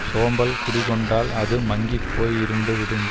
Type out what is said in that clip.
சோம்பல் குடிகொண்டால் அது மங்கி போய் இருண்டு விடும்